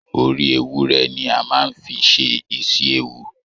Orí ewúrẹ́ ni a má a n fí ṣe isi-ewu.